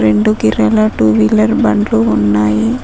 Red colour two wheeler బండ్లు ఉన్నాయి.